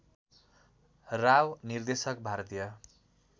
राव निर्देशक भारतीय